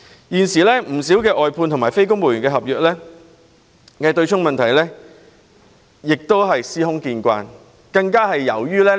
現時，政府外判員工和非公務員合約僱員強制金被對沖的問題非常普遍。